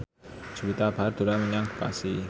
Juwita Bahar dolan menyang Bekasi